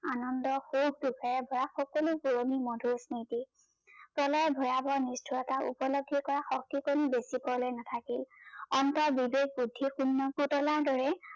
আনন্দ, সুখ, দুখৰ পৰা সকলো পুৰনি মধূৰ স্মৃতি, প্ৰলয়ৰ ভয়াবহ নিষ্ঠোৰতা উপলব্ধি কৰা শক্তি কনো দেখিবলৈ নাথাকিল বিবেক বুদ্ধি শূণ্য পুতলাৰ দৰে